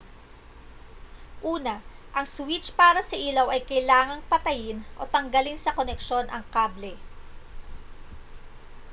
una ang switch para sa ilaw ay kailangang patayin o tanggalin sa koneksyon ang kable